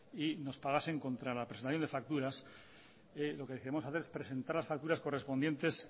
y nos pagasen contra le presentación de facturas lo que tenemos hacer es presentar las facturas correspondientes